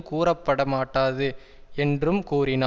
கூறப்பட மாட்டாது என்றும் கூறினார்